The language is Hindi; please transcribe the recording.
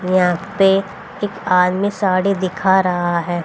यहां पे एक आदमी साड़ी दिखा रहा है।